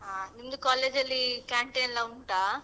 ಹಾ ನಿಮ್ದು college ಅಲ್ಲಿ canteen ಎಲ್ಲಾ ಉಂಟಾ?